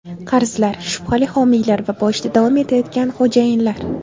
Qarzlar, shubhali homiylar va boyishda davom etayotgan xo‘jayinlar.